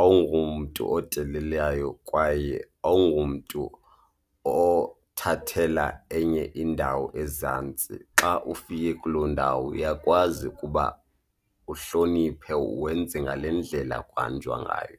awungomntu odelelayo kwaye awungomntu othathela enye indawo ezantsi. Xa ufike kuloo ndawo uyakwazi ukuba uhloniphe wenze ngale ndlela kuhanjwa ngayo.